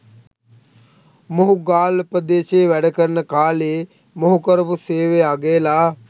මොහු ගාල්ල ප්‍රදේශයේ වැඩකරන කාලයේ මොහු කරපු සේවය අගයලා